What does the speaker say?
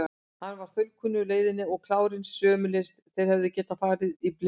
Hann var þaulkunnugur leiðinni og klárinn sömuleiðis, þeir hefðu getað farið hana í blindni.